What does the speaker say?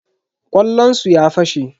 ƙwallonsu ya fashe.